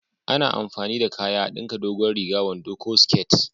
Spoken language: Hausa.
A na amfani da kaya a dinka dogon riga, wando ko siket